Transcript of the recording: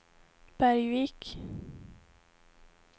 Bergvik